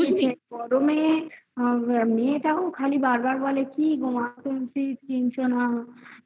গরমে মেয়েটাও খালি বারবার বলে কি?কিগো মা কিনছো না